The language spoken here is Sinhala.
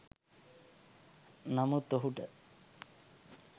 නමුත් ඔහුට